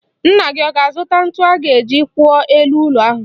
Nna gị ọ ga-azụta ntu a ga-eji kwụọ elu ụlọ ahụ?